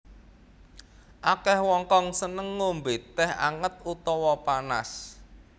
Akèh wong kang seneng ngombé tèh anget utawa panas